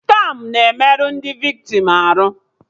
Skamụ na-emerụ ndị viktim arụ